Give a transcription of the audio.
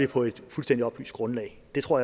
på et fuldstændig oplyst grundlag det tror